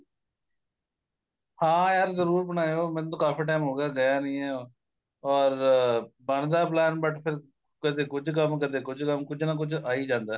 ਹਾਂ ਯਾਰ ਜਰੂਰ ਬਣਾਇਓ ਮੈਨੂੰ ਤਾਂ ਕਾਫੀ time ਹੋ ਗਿਆ ਨੀਂ ਆ or ਬਣਦਾ plain but ਫੇਰ ਕਦੇ ਕੁੱਝ ਕੰਮ ਕਦੇ ਕੁੱਝ ਕੰਮ ਕੁੱਝ ਨਾ ਕੁੱਝ ਆਈ ਜਾਂਦਾ